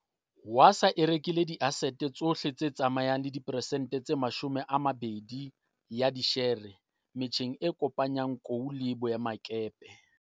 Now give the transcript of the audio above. Wasaa e rekile diasete tsohle tse tsamayang le diperesente tse 20 ya dishere metjheng e kopanyang kou le boemakepe.